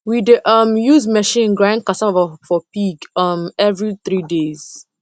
we dey um use machine grind cassava for pig um every three days